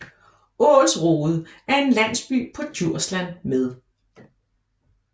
Ålsrode er en landsby på Djursland med